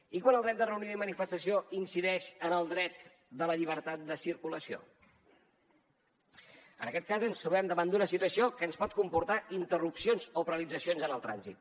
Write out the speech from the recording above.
i quan el dret de reunió i manifestació incideix en el dret de la llibertat de circulació en aquest cas ens trobem davant d’una situació que ens pot comportar interrupcions o paralitzacions en el trànsit